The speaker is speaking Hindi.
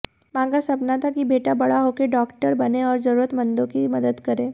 मां का सपना था कि बेटा बड़ा होकर डॉक्टर बने और जरूरतमंदों की मदद करे